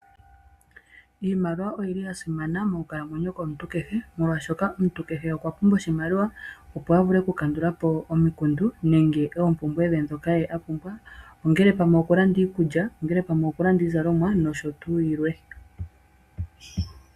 Iimaliwa oyili ya simana monkalamwenyo yomuntu kehe. Molwaashoka omuntu kehe okwa pumbwa oshimaliwa opo a vule okukandula po omikundu nenge oompumbwe ndhoka ye apumbwa. Ongele pamwe okulanda iikulya, ongele pamwe okulanda iizalomwa nosho tuu yilwe.